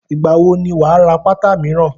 Ìgbà wo ni wà á ra pátá míràn?